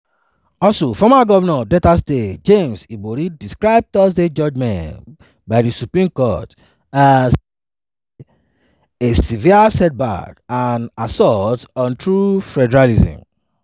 also former govnor of delta state james ibori describe thursday judgement by di supreme court as "a "a severe setback" and "an assault on true federalism".